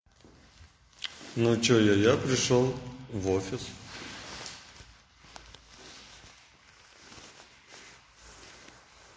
ну что я я пришёл в офис